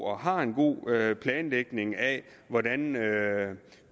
og har en god planlægning af hvordan